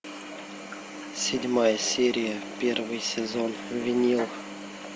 седьмая серия первый сезон винил